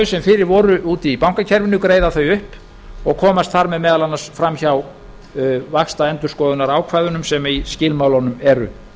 sem fyrir voru úti í bankakerfinu greiða þau upp og komast þar með meðal annars fram hjá vaxtaendurskoðunarákvæðum sem í skilmálunum eru